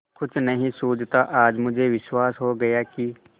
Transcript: कुछ नहीं सूझता आज मुझे विश्वास हो गया कि